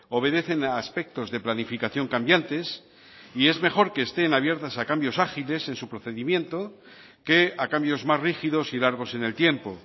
obedecen a aspectos de planificación cambiantes y es mejor que estén abiertas a cambios ágiles en su procedimiento que a cambios más rígidos y largos en el tiempo